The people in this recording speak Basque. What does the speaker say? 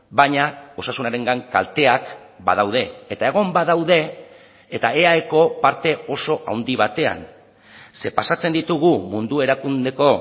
baina osasunarengan kalteak badaude eta egon badaude eta eaeko parte oso handi batean ze pasatzen ditugu mundu erakundeko